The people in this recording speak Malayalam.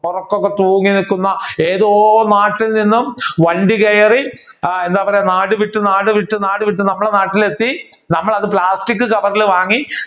ഒറക്കം ഒക്കെ തൂങ്ങി നിക്കുന്ന ഏതോ നാട്ടിൽ നിന്നും വണ്ടി കയറി എന്താ പറയുക നാട് വിട്ടു നാട് വിട്ടു നാട് വിട്ടു നമ്മുടെ നാട്ടിൽ എത്തി നമ്മൾ അത് plastic കവറിൽ വാങ്ങി